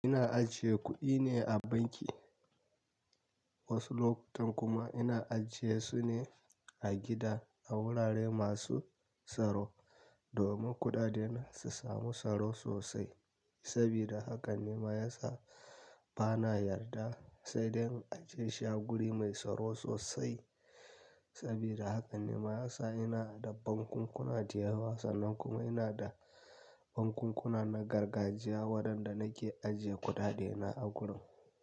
Ina ajiye kuɗi ne a banki, wasu lokutan kuma ina ajiye su ne a gida a wurare masu tsaro domin kuɗaɗena su samu tsaro sosai. Sabida haka ne ma ya sa bana yarda sai dai in ajiye shi a guri mai tsaro sosai. Saboda haka ne ma ya sa ina da bankun kuna da yawa, sannan kuma ina da banku kuna na gargajiya waɗanda nake ajiye kuɗaɗe na a gurin.